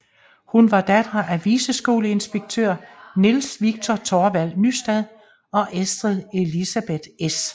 Hun var datter af viceskoledirektør Niels Viktor Thorvald Nystad og Estrid Elisabeth S